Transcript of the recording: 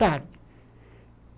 Tarde.